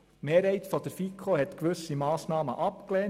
Die Mehrheit der FiKo hat gewisse Massnahmen abgelehnt.